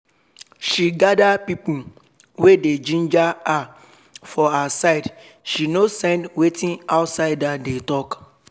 she gada pipo wey dey ginger her for her side she nor send wetin outsider dey talk